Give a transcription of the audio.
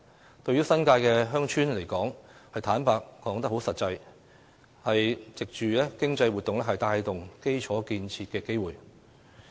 坦白說，對新界鄉村而言，這實際上是藉着經濟活動帶動基礎建設的機會。